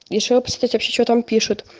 решила посмотреть вообще что там пишут